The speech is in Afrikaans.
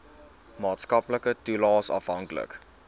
maatskaplike toelaes afhanklik